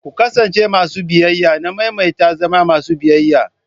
Ku kasance masu biyayya, na maimaita zama masu biyayya.